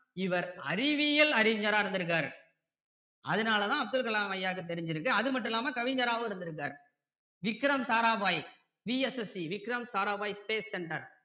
இவர் அறிவியல் அறிஞரா இருந்திருக்காரு அதனால தான் அப்துல் கலாம் ஐயாக்கு தெரிஞ்சிருக்கு அது மட்டும் இல்லாம கவிஞராவும் இருந்திருக்காரு Vikram Sarabhai VSSC Vikram Sarabhai space center